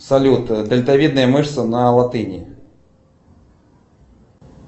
салют дельтавидная мышца на латыни